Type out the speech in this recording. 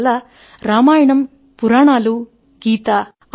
అందువల్ల రామాయణం పురాణాలు గీత